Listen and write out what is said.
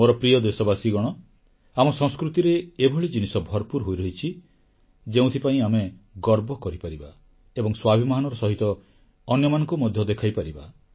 ମୋର ପ୍ରିୟ ଦେଶବାସୀଗଣ ଆମ ସଂସ୍କୃତିରେ ଏଭଳି ଜିନିଷ ଭରପୁର ହୋଇ ରହିଛି ଯେଉଁଥିପାଇଁ ଆମେ ଗର୍ବ କରିପାରିବା ଏବଂ ସ୍ୱାଭିମାନର ସହିତ ଅନ୍ୟମାନଙ୍କୁ ମଧ୍ୟ ଦେଖାଇପାରିବା